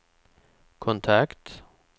kontakt